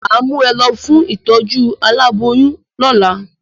Mà á mú ẹ lọ fún ìtọ́jú aláboyún lólà